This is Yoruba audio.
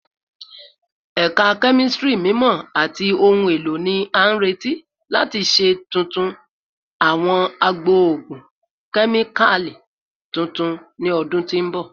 Ẹka Kemistri Mimọ ati Ohun elo ni a nireti lati ṣe tuntun awọn agbo ogun kemikali tuntun ni ọdun ti n bọ